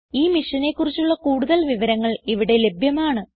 ഈ മിഷനെ കുറിച്ചുള്ള കുടുതൽ വിവരങ്ങൾ ഇവിടെ ലഭ്യമാണ്